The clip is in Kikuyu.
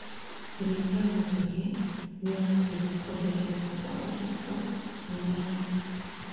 ũrĩithia wa njũkĩ nĩ urateithia kuongerereka gwa maciaro mĩmerainĩ